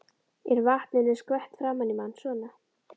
Er vatninu skvett framan í mann. svona.